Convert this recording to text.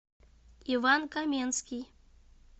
иван каменский